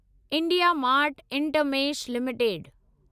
India mart Intermesh limited